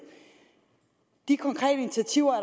de konkrete initiativer